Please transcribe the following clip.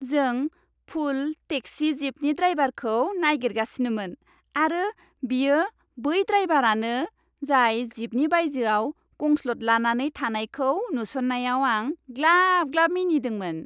जों full taxi जीपनि ड्राइभारखौ नागिरगासिनोमोन आरो बियो बै ड्राइभारानो जाय जीपनि बायजोआव गसंद्लानानै थानायखौ नुसन्नायाव आं ग्लाब ग्लाब मिनिदोंमोन।